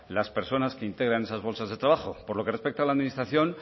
las personas que integran esas bolsas de trabajo por lo que respecta a la administración